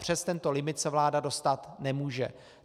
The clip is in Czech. Přes tento limit se vláda dostat nemůže.